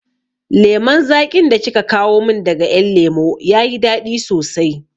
Lemon zaƙin da kika kawo min daga ƴan lemo ya yi daɗi sosai